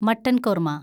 mutton korma